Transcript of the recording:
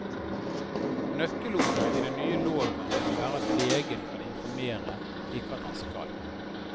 Nøkkelordet i den nye loven må være at legen kan informere, ikke at han skal.